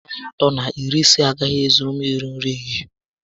Narị Naịra atọ na iri ise a gaghị ezuru m iri nri ehihie